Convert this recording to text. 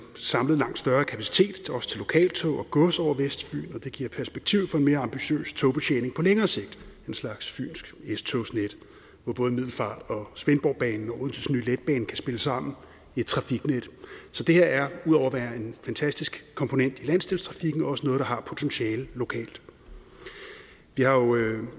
samlet langt større kapacitet også til lokaltog og gods over vestfyn og det giver perspektiv for en mere ambitiøs togbetjening på længere sigt en slags fynsk s togsnet hvor både middelfartbanen og svendborgbanen og odenses nye letbane kan spille sammen i et trafiknet så det her er ud over at være en fantastisk komponent i landsdelstrafikken også noget der har potentiale lokalt vi har jo